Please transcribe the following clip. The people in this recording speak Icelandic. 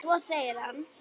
Svo segir hann.